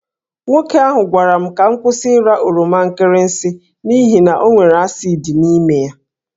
Nwoke ahụ gwara m ka m kwụsị ịra oroma nkịrịsị n’ihi na ọ nwere asid n’ime ya.